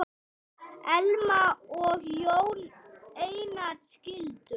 Elma og Jón Einar skildu.